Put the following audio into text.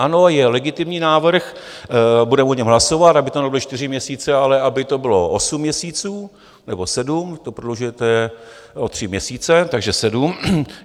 Ano, je legitimní návrh, budeme o něm hlasovat, aby to nebyly čtyři měsíce, ale aby to bylo osm měsíců nebo sedm, to prodlužujete o tři měsíce, takže sedm.